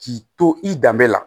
K'i to i danbe la